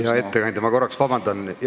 Hea ettekandja, palun korraks vabandust!